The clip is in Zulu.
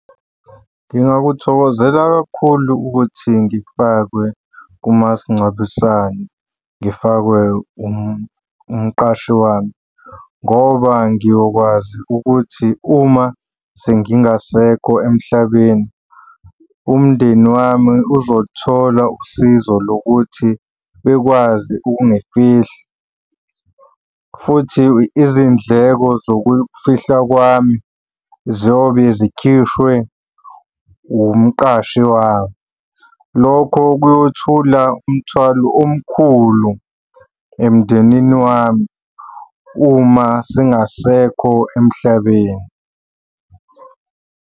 Ngingakuthokozela kakhulu ukuthi ngifakwe kumasingcwabisane, ngifakwe umqashi wami, ngoba ngiyokwazi ukuthi uma sengingasekho emhlabeni, umndeni wami uzoluthola usizo lokuthi bekwazi ungifihla, futhi izindleko zokufihlwa kwami ziyobe zikhishwe umqashi wami. Lokho kuyothula umthwalo omkhulu emndenini wami uma singasekho emhlabeni.